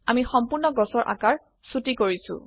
আমি সম্পূৰ্ণ গছৰ আকাৰ ছোটি কৰিছো160